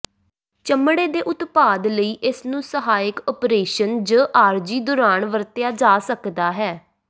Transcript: ਚਮੜੇ ਦੇ ਉਤਪਾਦ ਲਈ ਇਸ ਨੂੰ ਸਹਾਇਕ ਓਪਰੇਸ਼ਨ ਜ ਆਰਜ਼ੀ ਦੌਰਾਨ ਵਰਤਿਆ ਜਾ ਸਕਦਾ ਹੈ